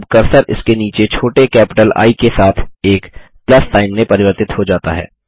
अब कर्सर इसके नीचे छोटे कैपिटल आई के साथ एक प्लस सिग्न में परिवर्तित हो जाता है